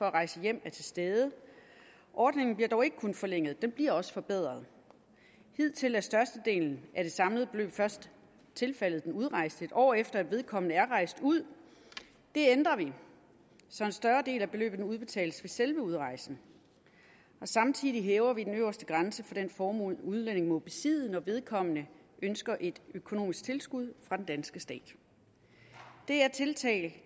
at rejse hjem er til stede ordningen bliver dog ikke kun forlænget den bliver også forbedret hidtil er størstedelen af det samlede beløb først tilfaldet den udrejste et år efter at vedkommende er rejst ud det ændrer vi så en større del af beløbet udbetales ved selve udrejsen samtidig hæver vi den øverste grænse for den formue en udlænding må besidde når vedkommende ønsker et økonomisk tilskud fra den danske stat det er tiltag